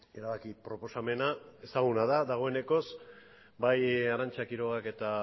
erabaki proposamena ezaguna da dagoeneko bai arantza quirogak eta